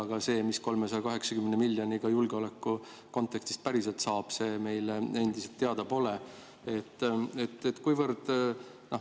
Aga see, mida 380 miljoni eest julgeolekukontekstis päriselt saab, meile endiselt teada pole.